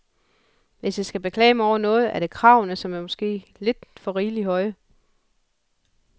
Hvis jeg skal beklage mig over noget, er det kravene, som måske er lidt rigeligt høje.